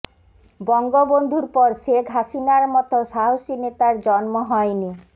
বঙ্গবন্ধুর পর শেখ হাসিনার মতো সাহসী নেতার জন্ম হয়নি